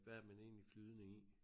Hvad er man egentlig flydende i